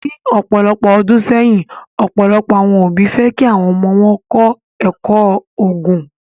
Ni ọpọlọpọ ọdun sẹyin, ọpọlọpọ awọn obi fẹ ki awọn ọmọ wọn kọ ẹkọ Oogun